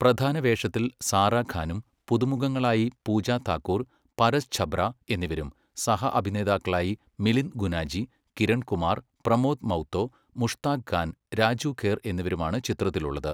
പ്രധാനവേഷത്തിൽ സാറാ ഖാനും പുതുമുഖങ്ങളായി പൂജ താക്കൂർ, പരസ് ഛബ്ര എന്നിവരും സഹ അഭിനേതാക്കളായി മിലിന്ദ് ഗുനാജി, കിരൺ കുമാർ, പ്രമോദ് മൗത്തോ, മുഷ്താഖ് ഖാൻ, രാജു ഖേർ എന്നിവരുമാണ് ചിത്രത്തിലുള്ളത്.